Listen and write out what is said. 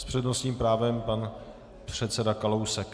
S přednostním právem pan předseda Kalousek.